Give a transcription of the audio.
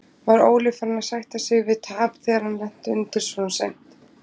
Var Óli farinn að sætta sig við tap þegar hann lenti undir svona seint?